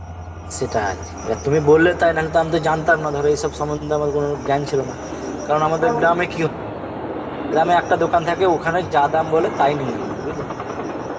সেটাই, এবার তুমি বললে তাই নাহলে তো আমি তো জানতাম না ধর এই সব সম্মন্ধে কনে জ্ঞান ছিল না কারণ গ্রামে একটা দোকান থাকে ওখানে যা দাম বলে তাই নি আমরা বুঝলে